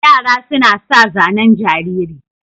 Yara suna sa zanen jariri.